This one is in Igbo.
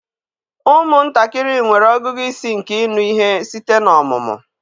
Ụmụntakịrị nwere ọgụgụ isi nke ịnụ ihe site n'ọmụmụ